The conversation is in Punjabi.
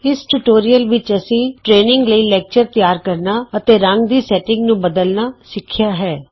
ਇਸ ਟਿਯੂਟੋਰੀਅਲ ਵਿਚ ਅਸੀਂ ਟਰੇਨਿੰਗ ਲਈ ਲੈਕਚਰ ਤਿਆਰ ਕਰਨਾ ਅਤੇ ਰੰਗ ਦੀ ਸੈਟਿੰਗ ਨੂੰ ਬਦਲਨਾ ਸਿਖਿਆ ਹੈ